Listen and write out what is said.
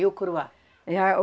E o curuá? É, a o